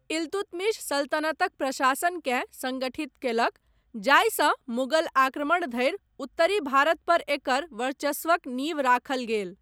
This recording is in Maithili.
इल्तुतमिश सल्तनतक प्रशासनकेँ संगठित कयलक, जाहिसँ मुगल आक्रमण धरि उत्तरी भारत पर एकर वर्चस्वक नींव राखल गेल।